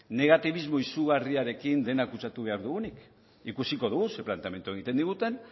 negatibismo izurriarekin dena kutsatuko behar dugunik ikusiko dugu zein planteamendu egiten diguten